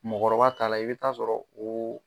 Mɔgɔkɔrɔba ta la i bɛ taa sɔrɔ o